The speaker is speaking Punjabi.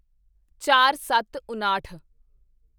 ਚਾਰਸੱਤਉਣਾਹਠ